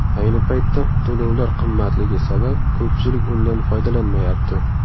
Ayni paytda to‘lovlar qimmatligi sabab ko‘pchilik undan foydalanmayapti.